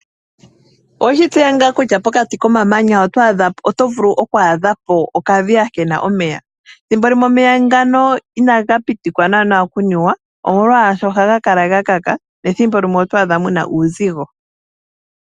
Oweshi tseya tuu kutya pokati, komamanya oto vulu okwaadha po okadhita kena omeya. Thimbimwe omeya ngano ina ga pitikwa okunuwa omolwasho oha ga kala ga kaka, nethimbo limwe oto adha muna uuzigo.